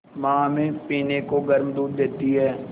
माँ हमें पीने को गर्म दूध देती हैं